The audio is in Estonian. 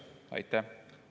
Aitäh!